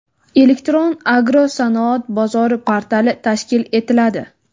Elektron agrosanoat bozori portali tashkil etiladi.